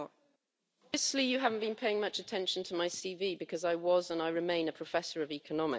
Obviously you haven't been paying much attention to my CV because I was, and I remain, a professor of economics.